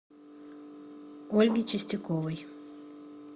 ольге чистяковой